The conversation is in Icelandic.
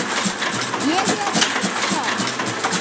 Ég er í höfn.